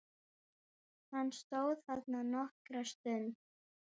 Hann stóð þarna nokkra stund.